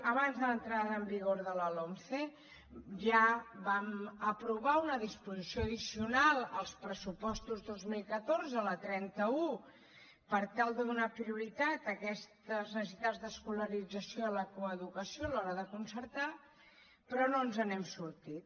abans de l’entrada en vigor de la lomce ja vam aprovar una disposició addicional als pressupostos dos mil catorze la trenta un per tal de donar prioritat a aquestes necessitats d’escolarització a la coeducació a l’hora de concertar però no ens n’hem sortit